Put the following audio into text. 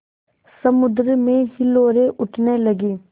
समुद्र में हिलोरें उठने लगीं